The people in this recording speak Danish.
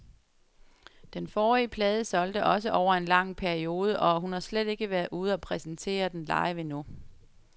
Den forrige plade solgte også over en lang periode, og hun har slet ikke været ude og præsentere den live endnu.